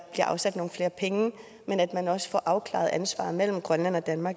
afsat nogle flere penge men at man også får afklaret ansvaret mellem grønland og danmark